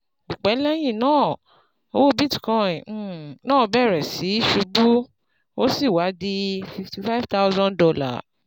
Kò pẹ́ lẹ́yìn náà, owó bitcoin um náà bẹ̀rẹ̀ sí í ṣubú, ó sì wá di fifty five thousand dollar.